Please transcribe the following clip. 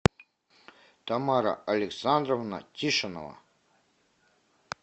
тамара александровна тишинова